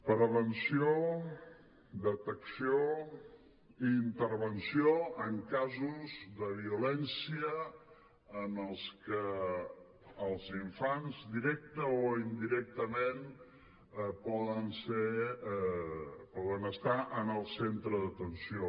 prevenció detecció i intervenció en casos de violència en els que els infants directament o indirectament poden estar en el centre d’atenció